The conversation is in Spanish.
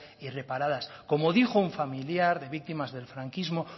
y reparadas como dijo un familiar de víctimas del franquismo